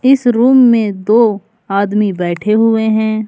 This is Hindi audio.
इस रूम में दो आदमी बैठे हुए हैं।